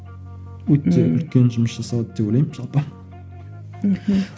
өте үлкен жұмыс жасалады деп ойлаймын жалпы мхм